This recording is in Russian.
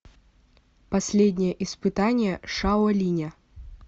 последнее испытание шао линя